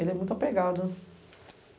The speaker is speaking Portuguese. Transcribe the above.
Ele é muito apegado.